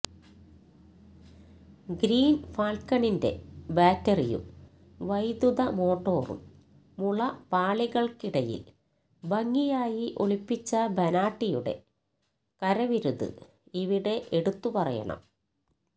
green ഫാല്ക്കണിന്റെ ബാറ്ററിയും വൈദ്യുത മോട്ടോറും മുള പാളികള്ക്ക് ഇടയില് ഭംഗിയായി ഒളിപ്പിച്ച ബനാട്ടിയുടെ കരവിരുത് ഇവിടെ എടുത്തുപറയണം